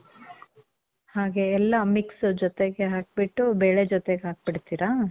ಹಾಗೆ ಎಲ್ಲ mix ಜೊತೆಗೆ ಹಾಕ್ಬಿಟ್ಟು, ಬೇಳೆ ಜೊತೆಗ್ ಹಾಕ್ಬಿಡ್ತೀರಾ?